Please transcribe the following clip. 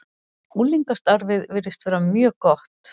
Unglingastarfið virðist vera mjög gott.